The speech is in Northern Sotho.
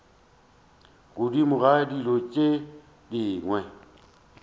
godimo ga dilo tše dingwe